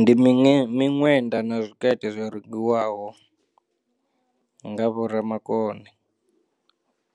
Ndi miṅwe miṅwenda na tshikete zwo rengiwaho nga vho ra makone